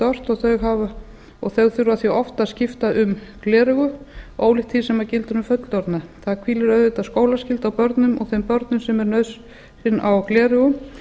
ört og þau þurfa því oft að skipta um gleraugu ólíkt því sem gildir um fullorðna það hvílir auðvitað skólaskylda á börnum og þeim börnum sem er nauðsyn á gleraugum